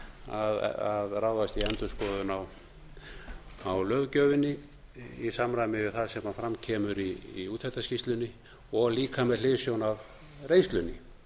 að ráðast í endurskoðun á löggjöfinni í samræmi við það sem fram kemur í úttektarskýrslunni og líka með hliðsjón af reynslunni